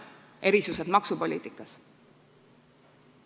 Erisused maksupoliitikas.